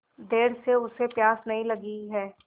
देर से उसे प्यास नहीं लगी हैं